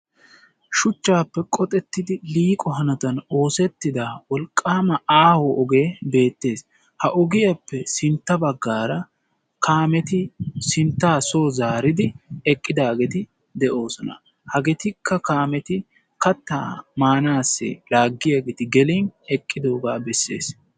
Shuchchaape qoxettidi liiqo hanotan oosettida wolqqaama aaho ogee beettees. Ha ogiyappe sintta bagaara kaameti sinttaa soo zaaridi eqqidaageeti de'oosona. Hageetikka kaameti kattaa maanaassi laaggiyageeti gelin eqqidoogaa bessees.